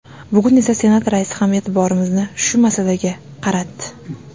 Bugun esa Senat raisi ham e’tiborimizni shu masalaga qaratdi.